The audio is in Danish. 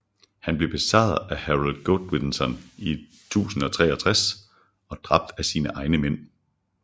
Han blev besejret af Harold Godwinson i 1063 og dræbt af sine egne mænd